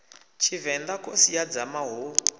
tshivenḓa khosi ya dzama hu